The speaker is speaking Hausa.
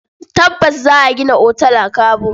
Tabbas! Za a gina otal a Kabo.